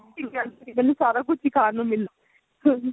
ਮੈਨੂੰ ਸਾਰਾ ਕੁੱਝ ਹੀ ਖਾਣ ਨੂੰ ਮਿਲੇ